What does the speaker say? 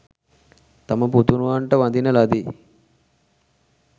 තම පුතනුවන්ට වඳින ලදී.